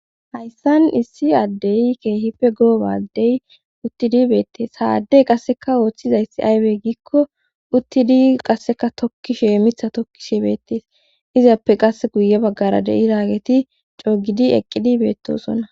hayssan issi addeyi keehipfe goobadey uttidi beettees saaddey qasseka ooththizayssi aybey giikko uttidi qasseka tokki shee mitha tokki shiebeetees izappe qasse guye baggara de7i raageti coogidi eqqidi beettosona